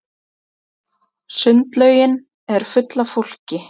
Sundlaugin er full af fólki.